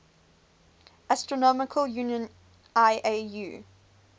astronomical union iau